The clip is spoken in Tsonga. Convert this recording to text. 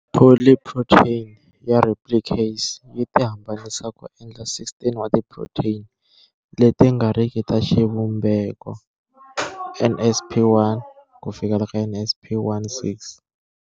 Polyprotein ya replicase yi tihambanisa ku endla 16 wa ti protein leti nga riki ta xivumbeko, nsp1-nsp16.